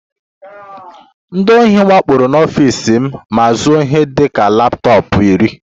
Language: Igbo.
Ndị ohi wakporo n'ọfịs m ma zuo ihe dị ka laptọọpụ iri